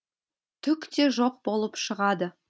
түк те жоқ болып шығады